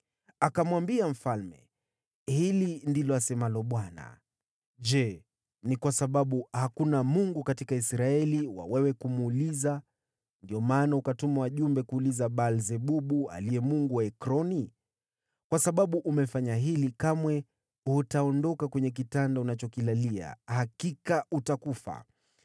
Akamwambia mfalme, “Hili ndilo asemalo Bwana : Je, ni kwa sababu hakuna Mungu katika Israeli wa kumuuliza habari, ndiyo maana ukatuma wajumbe kuuliza Baal-Zebubu, mungu wa Ekroni? Kwa sababu umefanya hili, kamwe hutaondoka kwenye kitanda unachokilalia. Hakika utakufa!”